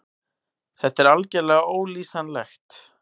Þetta er algerlega ólýsanlegt.